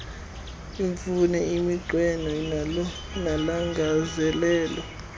iimfuno iminqweno nolangazelelo